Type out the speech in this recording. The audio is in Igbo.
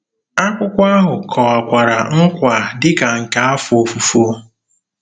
Akwụkwọ ahụ kọwakwara nkwa dị ka nke afọ ofufo.